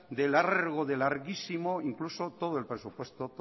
de largo de larguísimo incluso todo el presupuesto